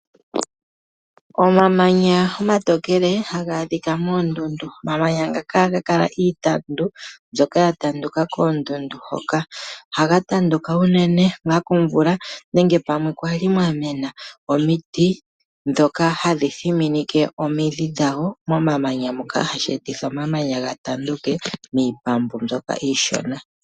Omamanya omatokele ha ga adhika moondundu . Omamanya ngaka oha ga kala geli miitandu mbyoka ya tanduka koondundu hoka . Oha ga tanduka unene komvula nenge pamwe kwali mwamena omiti ndhoka hadhi thiminike omidhi dhadho momamanya moka hashi etitha omamanya ga tanduke miipambu mbyoka iishona.